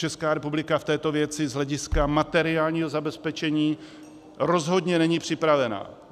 Česká republika v této věci z hlediska materiálního zabezpečení rozhodně není připravena.